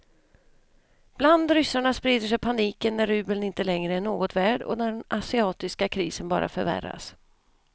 Bland ryssarna sprider sig paniken när rubeln inte längre är något värd och den asiatiska krisen bara förvärras.